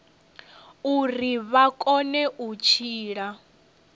uri vha kone u tshila